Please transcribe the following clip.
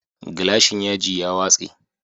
Gilashin ya ji ya watse